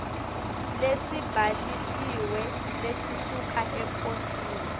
lesibhalisiwe lesisuka eposini